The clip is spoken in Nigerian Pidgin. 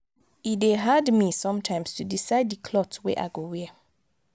e dey hard me sometimes to decide di cloth wey i go wear.